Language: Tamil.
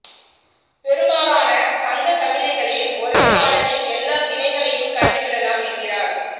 பெரும்பாலான சங்கக் கவிதைகளில் ஒரே பாடலில் எல்லா திணைகளையும் கண்டுவிடலாம் என்கிறார்